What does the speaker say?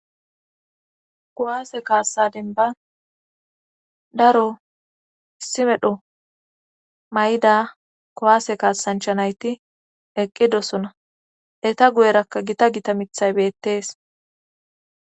Kowaase kaassadin ba daro simedho mayda kowaase kaasanchanayti eqqidosona eta guyerakka gita gita mithay beettees.